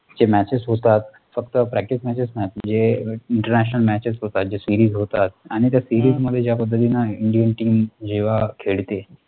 कि, matches होतात, फक्त practice matches नाही, जे INTERNATIONAL matches होतात, जे SERIES होतात, आणि त्या SERIES मध्ये ज्या पद्धतीने INDIAN TEAM जेव्हा खेळते,